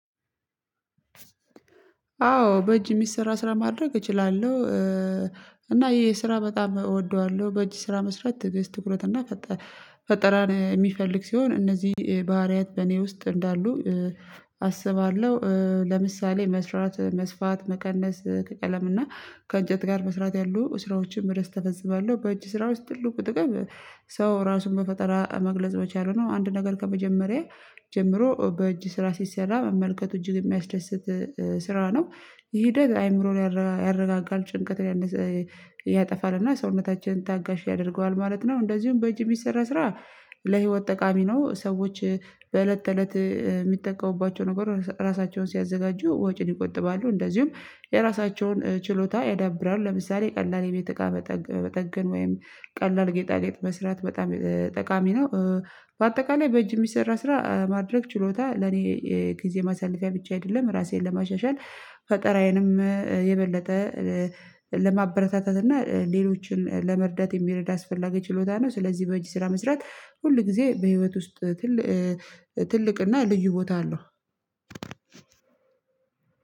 አዎ በእጅ የሚሰራ ስራ ማድረግ እችላለሁ። እና ይሄ ስራ በጣም እወደዋለሁ በእጅ ስራ መስራት ትዕግስት ትኩረት እና ፈጠራ ፈጠራን የሚፈልግ ሲሆን እነዚህ ባህሪያት በእኔ ውስጥ እንዳሉ አስባለሁ ለምሳሌ መስራት መስፋት መቀነስ ከቀለምና እና ከእንጨት ጋር መስራት ያሉ ስራዎችን በደስተ ፈጽማለሁ በእጅ ስራ ውስጥ ትልቁ ጥቅም ሰው ራሱን በፈጠራ መግለጽ መቻለ ነው። አንድ ነገር ከመጀመሪያ ጀምሮ በእጅ ስራ ሲሰራ መመልከቱ እጅግ የሚያስደስት ስራ ነው። ይህ ሂደት አይምሮን ያረጋጋል ጭንቀት ያጠፋል እና ሰውነታችንን ታጋሽ ያደርገዋል ማለት ነው። እንደዚሁም በእጅ ሚሰራ ስራ ለህይወት ጠቃሚ ነው። ሰዎች በእለት ተእለት የሚጠቀሙባቸው ነገሮች ራሳቸውን ሲያዘጋጁ ወጪን ይቆጥባሉ። እንደዚሁም የራሳቸውን ችሎታ ያዳብራል ለምሳሌ ቀላል የቤት እቃ መጠገን ወይም ቀላል ጌጣጌጥ መስራት በጣም ጠቃሚ ነው። በአጠቃላይ በእጅ የሚሰራ ስራ ማድረግ ችሎታ ለእኔ ጊዜ ማሳለፊያ ብቻ አይደለም። ራሴን ለማሻሻል ፈጠራዬንም የበለጠ ለማበረታታት እና ሌሎችን ለመርዳት የሚረዳ አስፈላጊ ችሎታ ነው። ስለዚህ በእጅ ስራ መስራት ሁል ጊዜ በህይወት ውስጥ ትልቅ ትልቅና ልዩ ቦታ አለው።